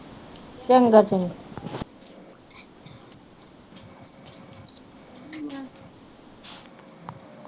ਚੰਗਾ ਚੰਗਾ।